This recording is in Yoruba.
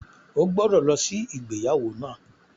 O gbọ́dọ̀ lọ sí ìgbéyàwó náà!